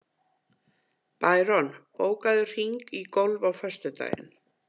Bæron, bókaðu hring í golf á föstudaginn.